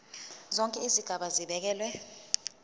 zonke izigaba zibekelwe